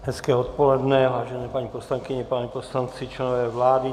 Hezké odpoledne, vážené paní poslankyně, páni poslanci, členové vlády.